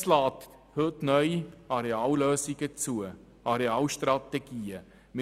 Das KEnG lässt neu Arealstrategien zu.